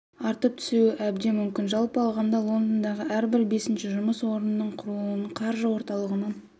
артып түсуі әбден мүмкін жалпы алғанда лондондағы әрбір бесінші жұмыс орнының құрылуының қаржы орталығының